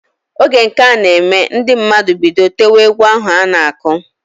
Oge nka na eme, ndi mmadụ bido tewe egwu ahu ana-akụ.